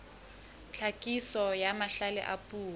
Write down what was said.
tlhakiso ya mahlale a puo